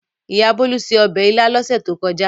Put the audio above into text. Ìyá Bólú se ọbẹ̀ ilá lọ́sẹ̀ tó kọjá.